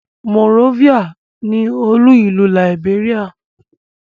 Monrovia ni olú-ìlú Liberia.